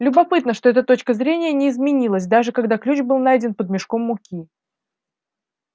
любопытно что эта точка зрения не изменилась даже когда ключ был найден под мешком муки